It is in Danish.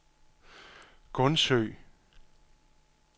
Gundsø